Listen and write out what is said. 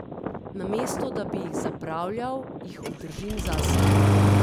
Namesto da bi jih zapravljal, jih obdržim zase.